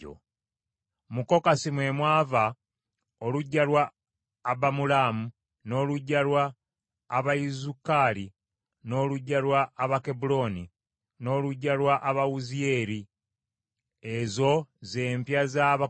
Mu Kokasi mwe mwava oluggya lwa Abamulaamu, n’oluggya lwa Abayizukaali, n’oluggya lwa Abakebbulooni, n’oluggya lwa Abawuziyeeri; ezo z’empya za Abakokasi.